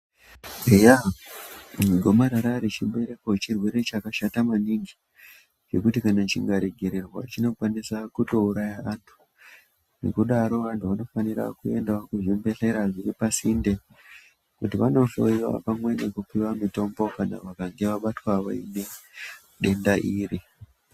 Eya gomarara rechibereko chirwere chakashata maningi zvekuti kana chikaregererwa chinokwanisa kutouraya anthu nekudaro vanthu vanofanira kuenda kuzvibhedhlera zviri pasinte kuti vanohloyiwa pamwe nekupuwe mitombo kana vakange vabatwa nedenda iri.